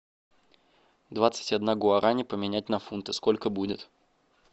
двадцать одна гуарани поменять на фунты сколько будет